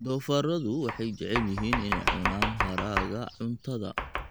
Doofaarradu waxay jecel yihiin inay cunaan haraaga cuntada.